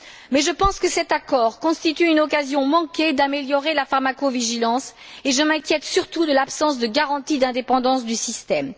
Mais je pense que cet accord constitue une occasion manquée d'améliorer la pharmacovigilance et je m'inquiète surtout de l'absence de garanties d'indépendance du système.